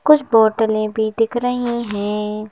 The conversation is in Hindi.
कुछ बोतलें भी दिख रही हैं।